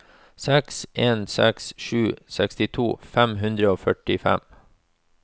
seks en seks sju sekstito fem hundre og førtifem